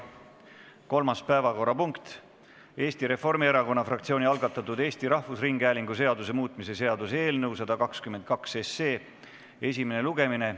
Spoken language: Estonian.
Kolmas päevakorrapunkt on Eesti Reformierakonna fraktsiooni algatatud Eesti Rahvusringhäälingu seaduse muutmise seaduse eelnõu 122 esimene lugemine.